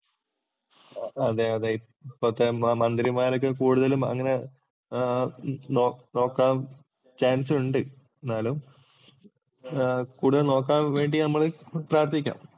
അതെ അതെ. ഇപ്പത്തെ മന്ത്രിമാരൊക്കെ കൂടുതലും അങ്ങനെ നോക്കാന്‍ ചാന്‍സ് ഉണ്ട്. എന്നാലും കൂടുതല്‍ നോക്കാന്‍ വേണ്ടി നമ്മള് പ്രാര്‍ത്ഥിക്കാം.